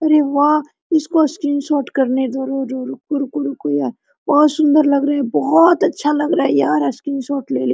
अरे वाह इसको स्क्रीनशॉट करने दो रुको -रुको बहुत सुन्दर लग रहा है बहुत अच्छा लग रहा है यार स्क्रीन शॉट ले ले।